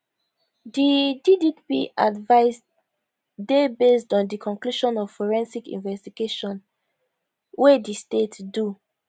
di dpp advice dey based on di conclusion of forensic investigation wey di state do